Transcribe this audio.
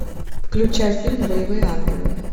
включай фильм боевые ангелы